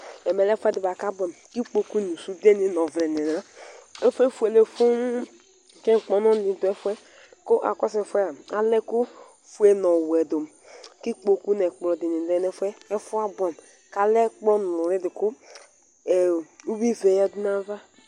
Ɛmɛlɛ ɛfʋɛdi bʋaakʋ abʋɛamʋ, kʋ ikpokʋ nʋ sʋde nʋ ɔvlɛ nilɛ Ɛfu yɛ efuele fuu kʋ ŋkpɔnʋ didʋ ɛfʋe kʋ akɔsʋ ɛfʋ yɛ aa alɛ ɛkʋfue nʋ ɔwʋɛdʋ kʋ ikpokʋ nʋ ɛkplɔ dilɛ nʋ ɛfʋɛ efʋɛ Afʋ yɛ abʋɛamʋ kʋ alɛ ɛkplɔ nʋli kʋ uwivɛ yadʋ nʋ ayava